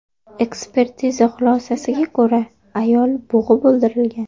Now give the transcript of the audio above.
Ekspertiza xulosasiga ko‘ra, ayol bo‘g‘ib o‘ldirilgan.